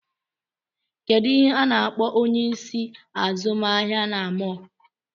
Kedụ ihe a na-akpọ onyeisi azụmahịa na mọl?